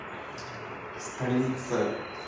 столица